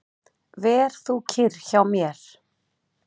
Ver þú kyrr hjá mér.